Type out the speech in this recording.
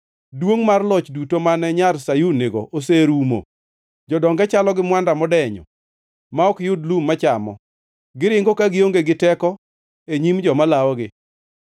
Duongʼ mar loch duto mane nyar Sayun nigo oserumo. Jodonge chalo gi mwanda modenyo ma ok yud lum machamo, giringo ka gionge gi teko e nyim joma lawogi.